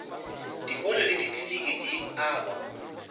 dikolo le dikliniki di agwa